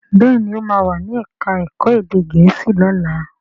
Béèni o ma wá ní èka èko èdè gèésì lọla.